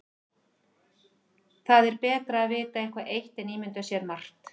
Það er betra að vita eitthvað eitt en ímynda sér margt.